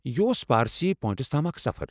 یہِ اوس پارسی پوینٛٹس تام اکھ سفر۔